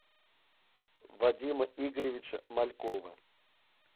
вадима игоревича малькова